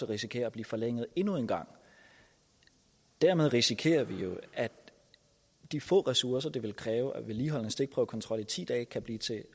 risikere at blive forlænget endnu en gang dermed risikerer vi jo at de få ressourcer det ville kræve at vedligeholde en stikprøvekontrol i ti dage kan blive til